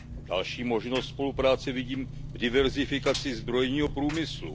Další možnost spolupráce vidím v diverzifikaci zbrojního průmyslu.